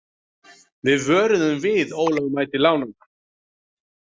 Við vöruðum við ólögmæti lánanna